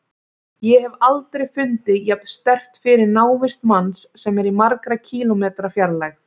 Ég hef aldrei fundið jafn sterkt fyrir návist manns sem er í margra kílómetra fjarlægð.